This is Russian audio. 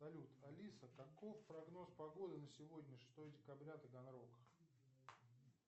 салют алиса каков прогноз погоды на сегодня шестое декабря таганрог